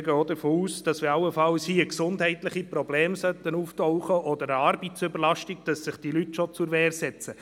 Wir gehen auch davon aus, dass sich die Leute schon zur Wehr setzen, sollten allenfalls gesundheitliche Probleme oder eine Arbeitsüberlastung auftauchen.